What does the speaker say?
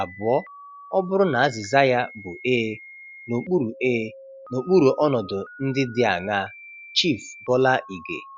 Abụọ, ọ bụrụ na azịza ya bụ ee, n'okpuru ee, n'okpuru ọnọdụ ndị dị aṅaa? - Chief Bola Ige